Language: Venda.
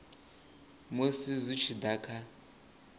musi zwi tshi da kha